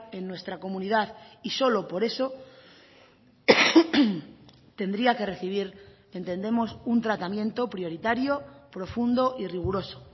en nuestra comunidad y solo por eso tendría que recibir entendemos un tratamiento prioritario profundo y riguroso